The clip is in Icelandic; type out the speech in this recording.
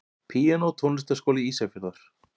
Píanó Tónlistarskóli Ísafjarðar.